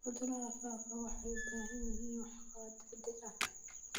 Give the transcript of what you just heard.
Cudurada faafa waxay u baahan yihiin waxqabad degdeg ah.